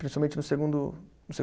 Principalmente no segundo no